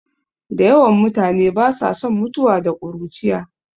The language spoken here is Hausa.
Da yawan mutane ba sa son mutuwa da ƙuruciya